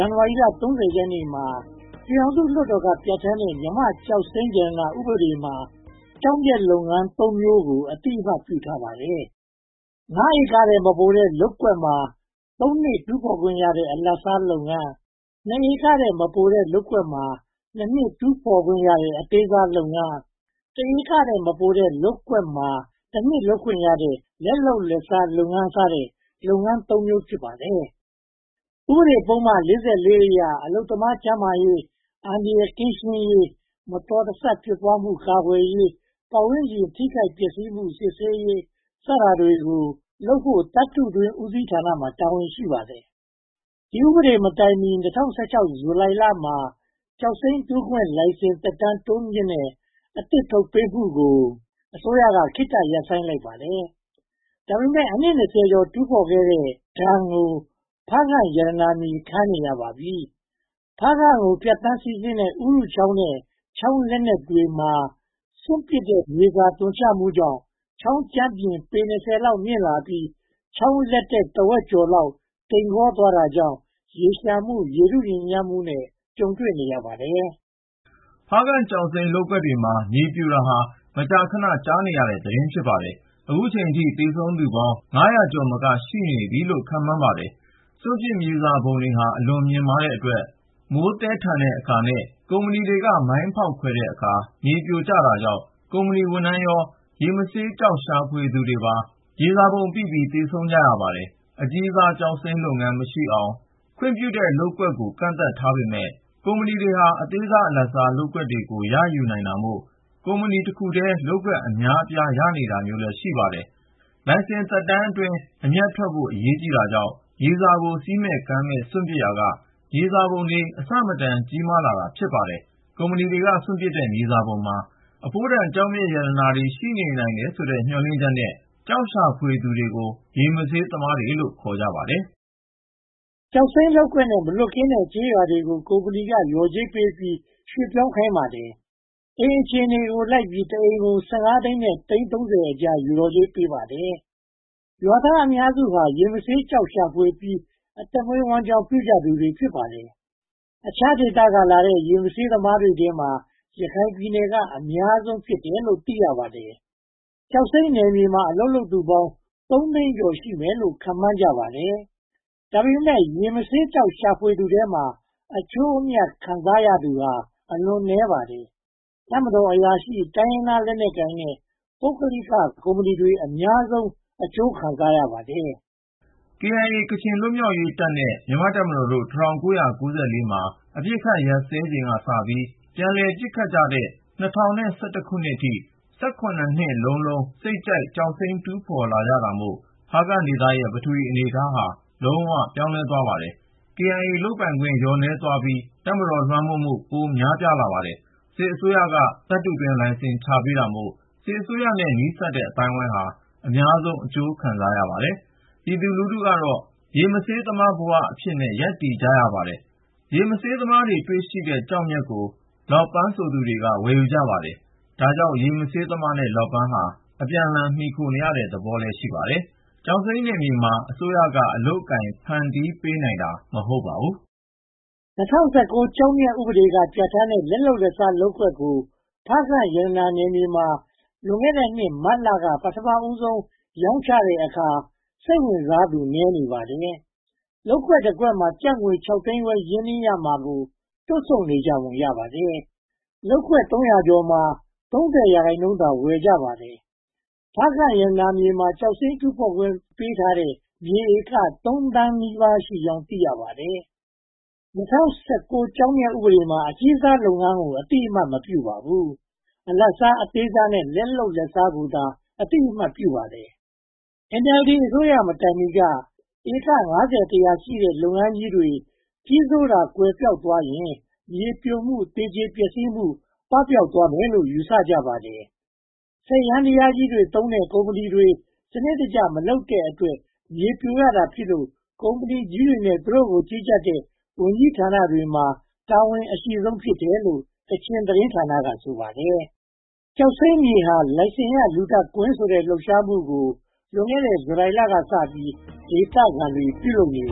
န်နဝါရီလ (၃၀) ရက်နေ့မှာ ပြည်ထောင်စုလွှတ်တော်က ပြဌာန်းတဲ့ မြန်မာ့ကျောက်မျက်ရတနာ ဥပဒေမှာ ကျောက်မျက်လုပ်ငန်းသုံးမျိုးကို အသိအမှတ် ပြုထားပါတယ်။ (၅) ဧကထက် မပိုတဲ့ လုပ်ကွက်မှာ (၃) နှစ် တူးဖော်ခွင့်ရတဲ့ အလတ်စားလုပ်ငန်း၊ (၂) ဧကထက် မပိုတဲ့လုပ်ကွက်မှာ (၂) နှစ် တူးဖော်ခွင့်ရတဲ့ အသေးစားလုပ်ငန်း၊ (၁) ဧကထက် မပိုတဲ့ လုပ်ကွက်မှာ (၁) နှစ် လုပ်ခွင့်ရတဲ့ လက်လုပ်လက်စားလုပ်ငန်း စတဲ့ လုပ်ငန်း (၃) မျိုး ဖြစ်ပါတယ်။ ဥပဒေပုဒ်မ (၄၄) အရ အလုပ်သမားကျန်းမာရေး၊ အန္တရာယ်ကင်းရှင်းရေး၊ မတော်မဆဖြစ်ပွားမှု ကာကွယ်ရေး၊ ပတ်ဝန်းကျင်ထိခိုက်ပျက်ဆီးမှု စစ်ဆေးရေးတွေကို လုပ်ကိုင်ဖို့ သတ္တုတွင်းဦးစီးဌာနမှာ တာဝန်ရှိပါတယ်။ ဒီဥပဒေမတိုင်မီ (၂၀၁၆) ဇူလိုင်လမှာ ကျောက်စိမ်းတူးဖော်ခွင့် လိုင်စင်သက်တမ်း တိုးမြှင့်မှုနဲ့အသစ် ထုတ်ပေးမှုကို အစိုးရက ခေတ္တရပ်ဆိုင်းထားပါတယ်။ ဒါပေမဲ့ အနှစ် (၂၀) ကျော် တူးဖော်ခဲ့တဲ့ဒဏ်ကို ဖားကန့်ရတာ ကြာခဲ့ပါပြီ။ ဖားကန့်ကိုဖြတ်ပြီး စီးဆင်းတဲ့ ဥရုချောင်းနဲ့ ချောင်းလက်တက်တွေထဲ စွန့်ပစ်မြေစာ သွန်ချမှုကြောင်း ချောင်းကြမ်းပြင်ပေ (၂၀) လောက် မြင့်လာပြီး ချောင်းလက်တက် တဝက်ကျော်ဟာ တိမ်ကောသွားတာကြောင့် ရေလျှံမှု၊ ရေထုညစ်ညမ်းမှုနဲ့ ကြုံတွေ့နေရပါတယ်။ ဖားကန့်ကျောက်စိမ်းလုပ်ငန်းတွေမှာ မြေပြိုတာဟာ မကြာခဏ ကြားရတဲ့သတင်း ဖြစ်ပါတယ်။ အခုအချိန်အထိ သေဆုံးသူပေါင်း (၅၀၀) ကျော် ရှိနိုင်တယ်လို့ ခန့်မှန်းပါတယ်။ စွန့်ပစ်မြေစာပုံတွေဟာ အလွန်မြင့်မားတဲ့အတွက် မိုးသည်းတဲ့အခါနဲ့ ကုမ္ပဏီတွေက မိုင်းဖောက်ခွဲတဲ့အခါမှာ မြေပြိုတာကြောင့် ကုမ္ပဏီဝန်ထမ်းရော၊ ရေမဆေးသမားတွေပါ မြေမြုပ်ခံရပြီး သေဆုံးကြရပါတယ်။ အကြီးစားကျောက်စိမ်း လုပ်ငန်းမရှိအောင် ခွင့်ပြုထားတဲ့ လုပ်ကွက်တွေ ကန့်သတ်ထားပေမယ့် ကုမ္ပဏီတွေဟာ အသေးစား၊ အလတ်စား လုပ်ကွက်တွေကို ရယူနိုင်တာမို့ ကုမ္ပဏီတခုတည်း လုပ်ကွက်အများအပြား ရတာမျိုး ရှိပါတယ်။ လိုင်စင်နှစ်အတွင်း အမြတ်ထွက်ဖို့ အရေးကြီးတာကြောင့် မြေစာကို စည်းကမ်းမရှိ စွန့်ပစ်ရာက မြေစာပုံတွေ အဆမတန် ကြီးမားလာတာ ဖြစ်ပါတယ်။ ကုမ္ပဏီတွေက စွန့်ပစ်တဲ့ မြေစာပုံမှာ အဖိုးတန်ကျောက်မျက် ပါဝင်နိုင်တယ်လို့ မျှော်လင့်ပြီး ကျောက်ရှာဖွေသူကို ရေမဆေးသမားလို့ ခေါ်ပါတယ်။ ကျောက်စိမ်းလုပ်ကွက်နဲ့ မလွတ်ကင်းတဲ့ ကျေးရွာတွေကို ကုမ္ပဏီက လျှော်ကြေးပေးပြီး ရွှေ့ပြောင်းခိုင်းပါတယ်။ အိမ်အခြေအနေကိုလိုက်ပြီး တအိမ်ကို (၁၅) သိန်းနဲ့ သိန်း (၃၀) အကြား လျှော်ကြေးပေးပါတယ်။ ရွာသားအများစုဟာ ရေမဆေးကျောက်ရှာဖွေပြီး အသက်မွေးဝမ်းကျောင်း ပြုကြသူတွေ ဖြစ်ပါတယ်။ အခြားဒေသကလာကြတဲ့ ရေမဆေးသမားတွေထဲမှာ ရခိုင်ပြည်နယ်က အများဆုံး ဖြစ်တယ်လို့ သိရပါတယ်။ ကျောက်စိမ်းနယ်မြေမှာ အလုပ်လုပ်သူပေါင်း သုံးသိန်းကျော် ရှိမယ်လို့ ခန့်မှန်းကြပါတယ်။ ဒါပေမဲ့ ရေမဆေးကျောက် ရှာဖွေသူထဲမှာ အကျိုးအမြတ် ခံစားရတာ အလွန်နည်းပါတယ်။ တပ်မတော်အရာရှိ၊ တိုင်းရင်းသားလက်နက်ကိုင်နဲ့ ပုဂ္ဂလိကကုမ္ပဏီတွေ အများဆုံး အကျိုးခံစားရပါတယ်။ KIA ကချင်လွတ်မြောက်ရေးတပ်နဲ့ မြန်မာ့တပ်မတော်ကို ၁၉၉၄ မှာ အပစ်အခတ်ရပ်စဲချိန်ကစပြီး ပြန်လည်ပစ်ခတ်ကြတဲ့ ၂၀၁၁ အထိ၊ (၁၇) နှစ်လုံးလုံး စိတ်ကြိုက်ကျောက်စိမ်း တူးဖော်ကြတာမို့ ဖားကန့်ဒေသရဲ့ ပထဝီအနေအထားဟာ လုံးဝပြောင်းလဲသွားပါတယ်။ KIA လုပ်ပိုင်ခွင့် လျော့နည်းသွားပြီး တပ်မတော် လွှမ်းမိုးမှု ပိုများလာပါတယ်။ စစ်အစိုးရက သတ္တုတွင်းလိုင်စင် ချပေးတာမို့ စစ်အစိုးရနဲ့ နီးစပ်တဲ့ အသိုင်းအဝိုင်းဟာ အများဆုံး အကျိုးခံစားရပါတယ်။ ပြည်သူလူထုကတော့ ရေမဆေးသမားအဖြစ် ဘဝရပ်တည်နေကြရပါတယ်။ ရေမဆေးသမား တွေ့ရှိတဲ့ကျောက်မျက်ကို လောပန်းဆိုသူတွေက ဝယ်ယူကြပါတယ်။ ဒါကြောင့် ရေမဆေးသမားနဲ့ လောပန်းဟာ အပြန်အလှန် မှီခိုနေတဲ့သဘော ရှိပါတယ်။ ကျောက်စိမ်းနယ်မြေမှာ အစိုးရက အလုပ်အကိုင် ဖန်တီးပေးနိုင်တာ မဟုတ်ပါဘူး။ ၂၀၁၉ ကျောက်မျက်ဥပဒေက ပြဌာန်းတဲ့ လက်လုပ်လက်စား လုပ်ကွက်ကို ဖားကန့်ရတနာနယ်မြေမှာ လွန်ခဲ့တဲ့နှစ် မတ်လက ပထမဆုံး ရောင်းချတဲ့အခါ စိတ်ဝင်စားသူ နည်းနေပါတယ်။ လုပ်ကွက်တကွက်မှာ ကျပ် (၆) သိန်းခွဲ ရင်းနှီးရမှာကို တွန့်ဆုတ်နေကြပုံ ရပါတယ်။ လုပ်ကွက်သုံးရာကျော်မှာ (၃၀) ရာခိုင်နှုန်းသာ ဝယ်ယူကြပါတယ်။ ဖားကန့်ရတနာမြေမှာ ကျောက်စိမ်းတူးဖော်ခွင့် ပေးထားတဲ့ မြေဧကသုံးသောင်းနီးပါးရှိကြောင်း သိရပါတယ်။ ၂၀၁၉ ကျောက်မျက်ဥပဒေမှာ အကြီးစားလုပ်ငန်းကို အသိအမှတ် မပြုပါဘူး။ အလတ်စား၊ အသေးစားနဲ့ လက်လုပ်လက်စားကိုသာ အသိအမှတ်ပြုပါတယ်။ NLD အစိုးရမတိုင်မီက ဧက (၅၀-၁၀၀) ရှိတဲ့ လုပ်ငန်းကြီးတွေ ကြီးစိုးတာ ကွယ်ပျောက်သွားရင် မြေပြိုမှုနဲ့ သေကျေပျက်စီးမှု ပပျောက်သွားမယ်လို့ ယူဆကြပါတယ်။ စက်ယန္တရားကြီးတွေသုံးတဲ့ ကုမ္ပဏီတွေ စနစ်တကျ မလုပ်တဲ့အတွက် မြေပြိုရတာဖြစ်လို့ ကုမ္ပဏီကြီးတွေနဲ့ သူတို့ကို ကြီးကြပ်တဲ့ ဝန်ကြီးဌာနတွေမှာ တာဝန်အရှိဆုံး ဖြစ်တယ်လို့ ကချင်တင်းဌာနက ဆိုပါတယ်။ “ကျောက်စိမ်းမြေဟာ လိုင်စင်ရ လူသတ်ကွင်း” ဆိုတဲ့ လှုပ်ရှားမှုကို လွန်ခဲ့တဲ့ ဇူလိုင်လကစပြီး ဒေသခံတွေ ပြုလုပ်နေပ